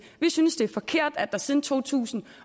vi synes det er forkert at der siden to tusind